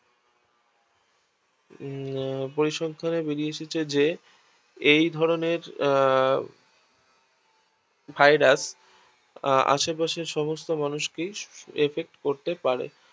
আহ পরিসংখ্যানে বেড়িয়ে এসেছে যে এইধরনের আহ Virus আহ আশে পাশের সমস্ত মানুষকেই effect করতে পারে